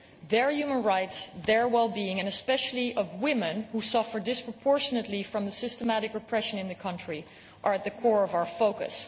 Their human rights, their well being especially that of women, who suffer disproportionately from the systematic repression in the country are at the core of our focus.